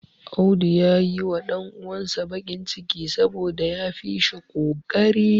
Audu ya yiwa ɗan uwansa bakin ciki saboda ya fi shi ƙoƙari.